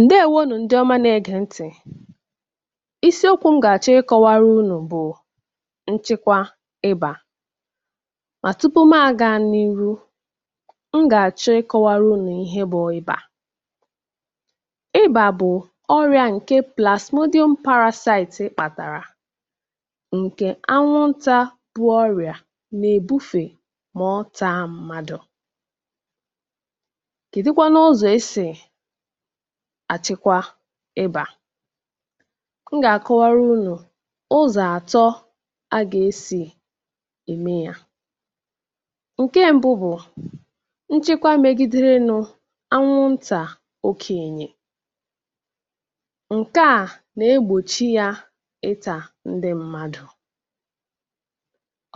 ǹdewo nù ndị ọma na-ẹgẹ̀ ntị̀ ịsị okwū m gà àchọ ị kọwara unù bụ̀ nchịkwa ịbà mà tupu mā ga n’iru m gà àchọ ị kọwara unù ihe bụ ịbà ịbà bụ̀ ọrịa ǹke plàsmodyum parāsaitii kpàtàrà ǹkẹ̀ anwụntā bu ọrịà nà-èbufè mà ọ taa mmadù kèdu kwanụ ụzọ e sì àchịkwa ịbà m gà àkọwara unù ụzọ̀ àtọ a gà e sì ème yā ǹkẹ mbụ bụ̀ nchịkwa megiderenū anwụ ntà okènyè ǹkẹ̀ a nà egbòchi yā ịtà ndị mmadù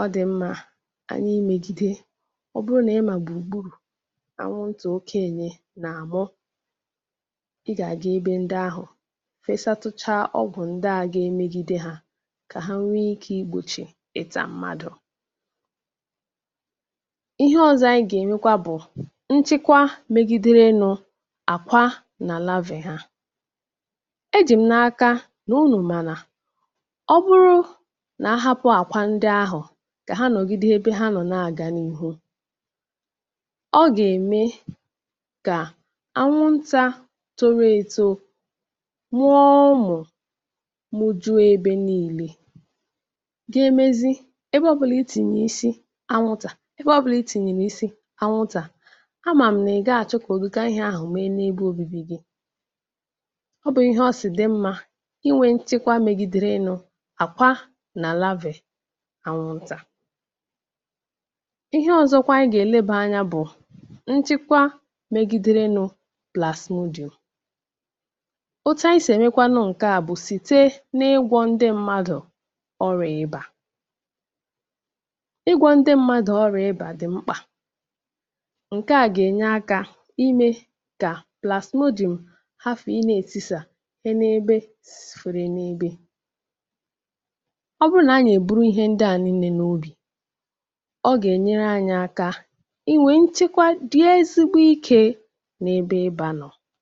ọ dị̀ mmā anyị ị mèjide ọ bụrụ nà ị mà gbùrù gburù anwụ ntà okenye nà àmụ ị gà àga ebe ndị ahụ̀ fesatucha ọgwụ̀ ndị ahụ̄ ga emegide hā kà hā nwẹ ikē I gbochi ịtà mmadù ihe ọzọ anyị gà-ènyukwa bụ̀ nchịkwa megịdere nū àkwa nà lavè hā e jị m̀ n’aka nà unù mà nà ọ bụrụ nà ahapū àkwa ndị ahụ̀ kà ha nọ̀gide ebe ha nọ̀ nà àgà n’ihu ọ gà ème kà anwụ ntā toro eto mụo ụmụ̀ mujue ebe nille ga emezi ebe ọbụlà ị tìnyè ịsị anwụntà anwụntà ebe ọbụlà ị tìnyèrè ịsị anwụntà a màm nà ị̀ gaghị àchọ kà ùdika ihe ahụ̀ mee n’ebe obibi gī ọ bụ̄ ihe ọ sị̀ dị mmā inwē nchekwa megidere nụ̄ àkwa nà lavè anwụntà ihe ọzọkwa anyị gà èlebà anyā bụ̀ nchịkwa megiderenū plàsmodyùm otu anyị sì ẹ̀mẹkwanụ ǹkẹ̀ a bụ sìte n’ịgwọ̄ ndị mmadù ọrịà ịbà ịgwọ̄ ndị mmadù ọrịà ịbà dị̀ mkpà ǹke a gà ènye akā imē kà plàsmodyùm hafù ị nà-etisà e n’ebe foro n’ebe ọ bụrụ nà anyị nà èburu ihe ndị à nille n’obì ọ gà ènyere anyị aka inwē nchịkwa dị ezigbo ikē n’ebe ịbā nọ̀